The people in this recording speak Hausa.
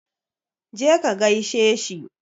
Je ka gaishe shi.